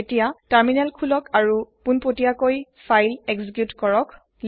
এতিয়া তাৰমিনেল খুলক আৰু পুনপতিয়াকই ফাইল এক্সিকুইত কৰক